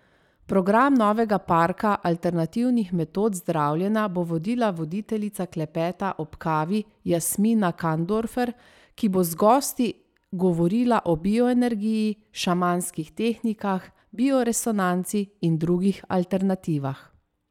Program novega parka alternativnih metod zdravljenja bo vodila voditeljica Klepeta ob kavi Jasmina Kandorfer, ki bo z gosti govorila o bioenergiji, šamanskih tehnikah, bioresonanci in drugih alternativah.